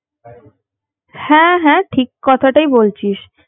হ্যাঁ হ্যাঁ ঠিক কথাটাই বলছিস